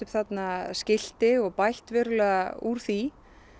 þarna skilti og bætt verulega úr því